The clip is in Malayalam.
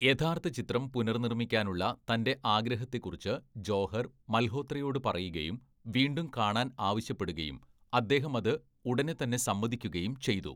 യഥാർത്ഥ ചിത്രം പുനർനിർമ്മിക്കാനുള്ള തൻ്റെ ആഗ്രഹത്തെക്കുറിച്ച് ജോഹർ, മൽഹോത്രയോട് പറയുകയും വീണ്ടും കാണാൻ ആവശ്യപ്പെടുകയും അദ്ദേഹമത് ഉടനെത്തന്നെ സമ്മതിക്കുകയും ചെയ്തു.